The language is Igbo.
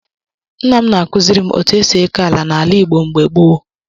Nna m na-akụziri m otú e si eke ala n'ala Igbo mgbe gboo.